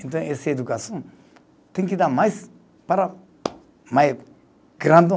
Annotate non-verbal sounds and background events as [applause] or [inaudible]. Então, esse educação tem que dar mais para mais [unintelligible]